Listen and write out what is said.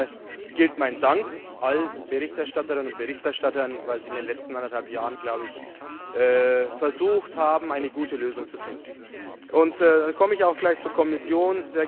Zunächst einmal gilt mein Dank allen Berichterstatterinnen und Berichterstattern, weil sie in den letzten anderthalb Jahren versucht haben, eine gute Lösung zu finden. Damit komme ich auch gleich zur Kommission.